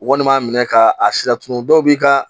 Walima minɛ ka a si la tuma dɔw b'i ka